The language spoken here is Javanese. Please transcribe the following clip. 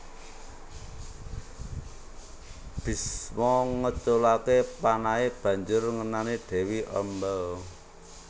Bisma ngeculake panahe banjur ngenani Dewi Amba